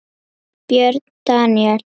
Björn Daníel?